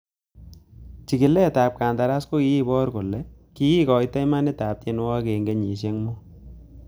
Chigiletab kandaras kokibor kole kikoito imandab tienwogikyik en kenyisiek mut.